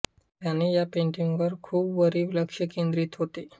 त्याने या पेंटिंग वर खूप भरीव लक्ष केन्द्रित होते